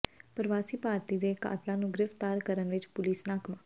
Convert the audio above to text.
ਪਰਵਾਸੀ ਭਾਰਤੀ ਦੇ ਕਾਤਲਾਂ ਨੂੰ ਗ੍ਰਿਫਤਾਰ ਕਰਨ ਵਿੱਚ ਪੁਲੀਸ ਨਾਕਾਮ